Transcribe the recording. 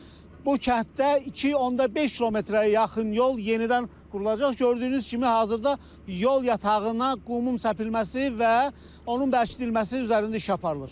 Bu kənddə 2.5 kilometrə yaxın yol yenidən qurulacaq, gördüyünüz kimi hazırda yol yatağına qumun səpilməsi və onun bərkidilməsi üzərində iş aparılır.